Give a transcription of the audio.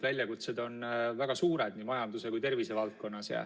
Väljakutsed on väga suured nii majanduse kui ka tervise valdkonnas.